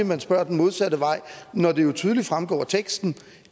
man spørger den modsatte vej når det jo tydeligt fremgår af teksten